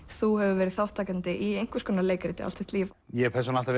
þú hefur verið þátttakandi í einhvers konar leikrit allt þitt líf ég persónulega